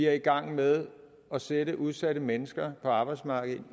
er i gang med at sætte de udsatte mennesker på arbejdsmarkedet